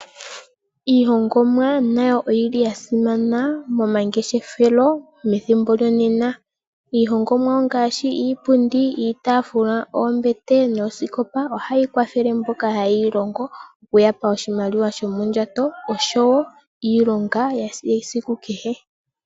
Iihongomwa nayo oyili ya simana momangeshefelo methimbo lyonena. Iihongomwa ongashi iipundi, iitafula, oombete noskopa, ohayi kwathele mboka ha yeyi longo ya mone oshimaliwa sho mondjato osho wo iilonga yesiku kehe.